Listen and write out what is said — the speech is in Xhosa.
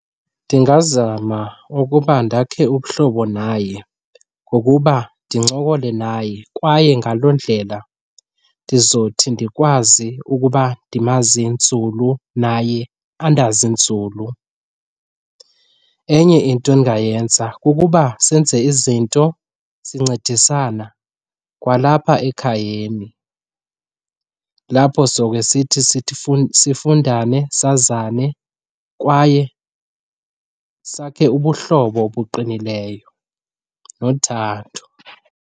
Ndingazama ukuba ndakhe ubuhlobo naye ngokuba ndincokole naye kwaye ngaloo ndlela ndizothi ndikwazi ukuba ndimazi nzulu naye andazi nzulu. Enye into endingayenza kukuba senze izinto sincedisana kwalapha ekhayeni lapho zobe sithi sifundane, sazane kwaye sakhe ubuhlobo obuqinileyo nothando.